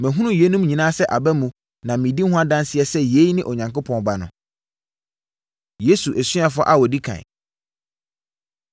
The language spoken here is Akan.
Mahunu yeinom nyinaa sɛ aba mu na medi ho adanseɛ sɛ yei ne Onyankopɔn Ba no.” Yesu Asuafoɔ A Wɔdi Kan